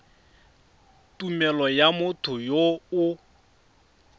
tumelelo ya motho yo o